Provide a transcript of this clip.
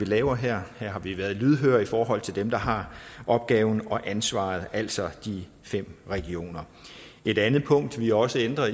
laver her har vi været lydhøre i forhold til dem der har opgaven og ansvaret altså de fem regioner et andet punkt vi også ændrer